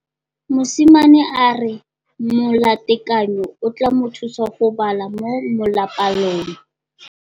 Mosimane a re molatekanyô o tla mo thusa go bala mo molapalong.